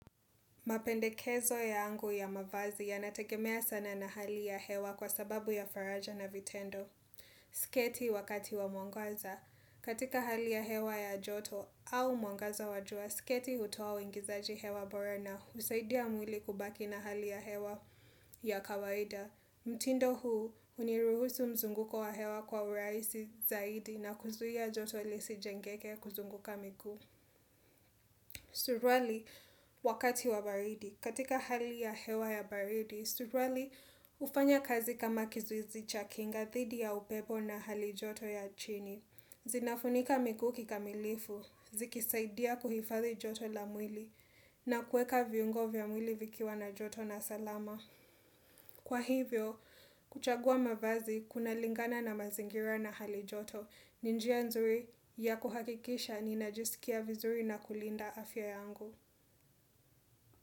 Mapendekezo yangu ya mavazi ya nategemea sana na hali ya hewa kwa sababu ya faraja na vitendo. Siketi wakati wa mwangaza. Katika hali ya hewa ya joto au mwangaza wajua, siketi utuwa wingizaji hewa bora na usaidia mwili kubaki na hali ya hewa ya kawaida. Mtindo huu uniruhusu mzunguko wa hewa kwa uraisi zaidi na kuzui ya ajoto ilisi jengeke kuzunguka miku. Surwali wakati wa baridi. Katika hali ya hewa ya baridi, suwali ufanya kazi kama kizuizi chakinga thidi ya upepo na hali joto ya chini. Zinafunika mikuki kamilifu, zikisaidia kuhifathi joto la mwili, na kueka viungo vya mwili vikiwa na joto na salama. Kwa hivyo, kuchagua mavazi kuna lingana na mazingira na hali joto, ni njia nzuri ya kuhakikisha na najisikia vizuri na kulinda afya yangu.